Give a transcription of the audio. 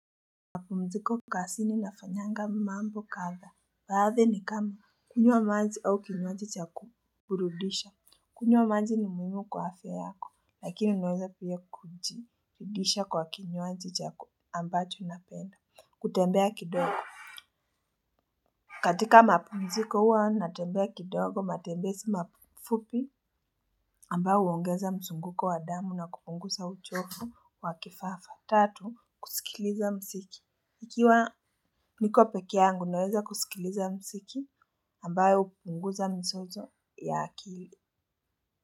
Mapumziko kazini nafanyanga mambo kadha, baadhi ni kama kunywa maji au kinywaji cha kuburudisha. Kunywa maji ni muhimu kwa afya yako lakini inaweza pia kujirudisha kwa kinywaji chako ambacho napenda. Kutembea kidogo. Katika mapumziko huwa natembea kidogo matembezi mafupi ambayo huongeza mzunguko wa damu na kupunguza uchovu wa kifafa. Tatu, kusikiliza msiki. Ikiwa niko peke yangu naweza kusikiliza mziki ambayo hupunguza mizozo ya akili.